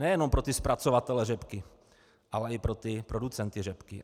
Nejenom pro ty zpracovatele řepky, ale i pro ty producenty řepky.